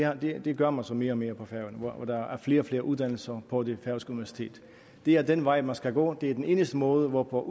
og det gør man så mere og mere på færøerne hvor der er flere og flere uddannelser på det færøske universitet det er den vej man skal gå det er den eneste måde hvorpå